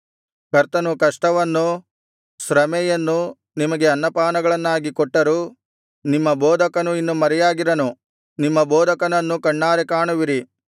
ಕರ್ತನು ಕಷ್ಟವನ್ನು ಶ್ರಮೆಯನ್ನು ನಿಮಗೆ ಅನ್ನಪಾನಗಳನ್ನಾಗಿ ಕೊಟ್ಟರೂ ನಿಮ್ಮ ಬೋಧಕನು ಇನ್ನು ಮರೆಯಾಗಿರನು ನಿಮ್ಮ ಬೋಧಕನನ್ನು ಕಣ್ಣಾರೆ ಕಾಣುವಿರಿ